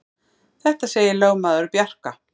Þetta segir lögmaður Bjarka.